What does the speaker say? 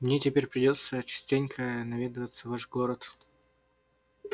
мне теперь придётся частенько наведываться в ваш город